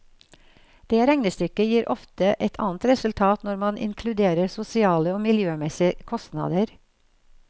Det regnestykket gir ofte et annet resultat når man inkluderer sosiale og miljømessige kostnader.